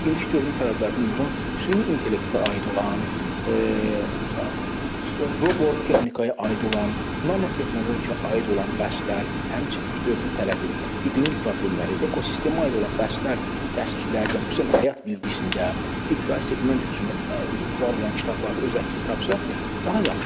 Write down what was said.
İndiki dövrün tələblərinə uyğun süni intellektə aid olan, robotexnikaya aid olan, nanotehnologiya aid olan bəhslər, həmçinin dövrün tələbi, iqlim problemləri, ekosistemə aid olan bəhslər dərsliklərdə, xüsusən də həyat bilgisində, ibtidai seqment üçün var olan kitablarda öz əksini tapsa, daha yaxşı olar.